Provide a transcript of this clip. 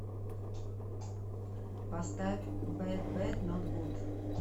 поставь бэдбэднотгуд